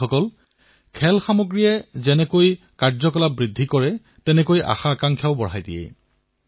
বন্ধুসকল খেলাসামগ্ৰীয়ে কৰ্মতৎপৰতা বৃদ্ধি কৰাৰ লগতে আমাৰ আকাংক্ষাকো ডেউকা প্ৰদান কৰে